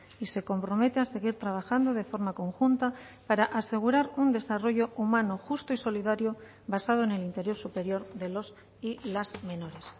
y se compromete a seguir trabajando de forma conjunta para asegurar un desarrollo humano justo y solidario basado en el interés superior de los y las menores